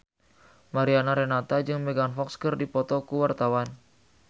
Mariana Renata jeung Megan Fox keur dipoto ku wartawan